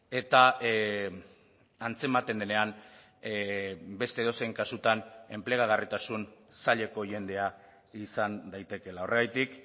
eta antzematen denean beste edozein kasutan enplegagarritasun zaileko jendea izan daitekeela horregatik